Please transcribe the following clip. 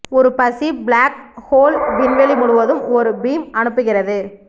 ஒரு பசி black hole விண்வெளி முழுவதும் ஒரு பீம் அனுப்புகிறது